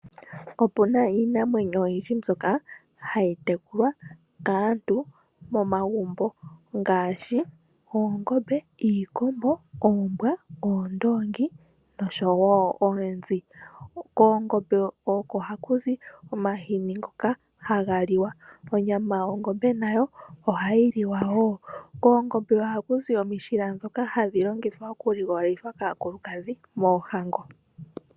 Opuna iinamwenyo oyindji mbyoka hayi tekulwa kaantu momagumbo ngaashi oongombe, iikombo, oombwa, oondongi nosho wo oonzi, koongombe oko haku zi omahini ngoka haga liwa, onyama yongombe nayo ohayi liwa wo, koongombe ohaku zi omishila ndhoka hadhi longithwa okuligololitha kaakulukadhi moohango.